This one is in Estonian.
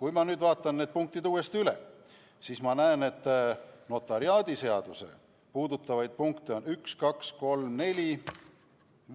Kui ma nüüd vaatan need punktid uuesti üle, siis ma näen, et notariaadiseadust puudutavaid punkte on üks, kaks, kolm, neli,